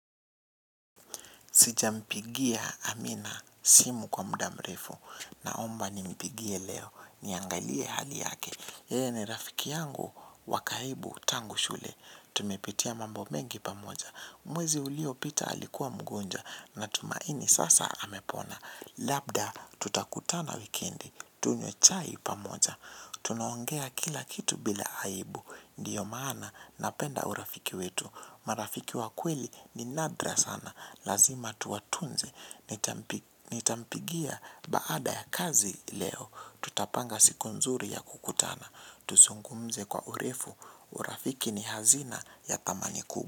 Sijampigia amina simu kwa muda mrefu naomba nimpigie leo niangalie hali yake. Yeye ni rafiki yangu wa karibu tangu shule. Tumepitia mambo mengi pamoja. Mwezi uliopita alikuwa mgonjwa natumaini sasa amepona. Labda tutakutana wikendi tunywe chai pamoja. Tunaongea kila kitu bila aibu. Ndiyo maana napenda urafiki wetu. Marafiki wa kweli ni nadra sana. Lazima tuwatunze, nitampigia baada ya kazi leo. Tutapanga siku nzuri ya kukutana. Tuzungumze kwa urefu, urafiki ni hazina ya thamani kuu.